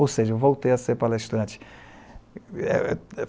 Ou seja, voltei a ser palestrante.